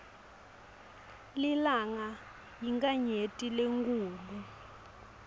lilanga yinkhanyeti lenkhulu